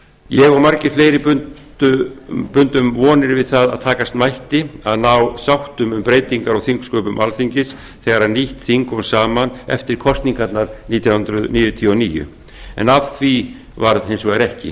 ég og margir fleiri bundum vonir við það að takast mætti að ná sáttum um breytingar á þingsköpum alþingis þegar nýtt þing kom saman eftir kosningar nítján hundruð níutíu og níu af því varð hins vegar ekki